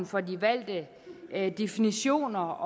for de valgte definitioner